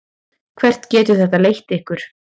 Hvert getur þetta leitt ykkur?